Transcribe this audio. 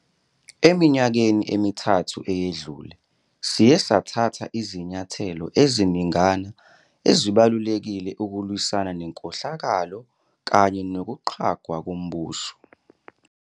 Eminyakeni emithathu eyedlule, siye sathatha izinyathelo eziningana ezibalulekile ukulwisana nenkohlakalo kanye nokuqhwagwa kombuso.